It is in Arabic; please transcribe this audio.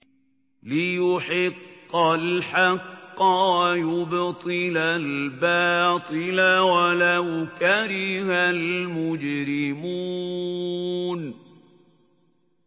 لِيُحِقَّ الْحَقَّ وَيُبْطِلَ الْبَاطِلَ وَلَوْ كَرِهَ الْمُجْرِمُونَ